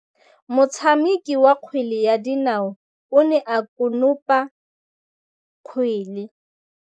Motshameki wa kgwele ya dinaô o ne a konopa kgwele.